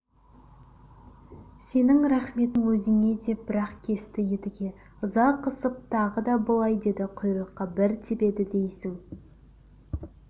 сенің рахметің өзіңе деп бір-ақ кесті едіге ыза қысып тағы да былай деді құйрыққа бір тебеді дейсің